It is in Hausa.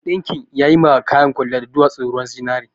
Mai ɗinkin yayi ma kayan kwaliya da dowatsun ruwan zinari